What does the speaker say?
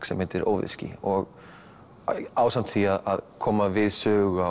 sem heitir óveðursský og ásamt því að koma við sögu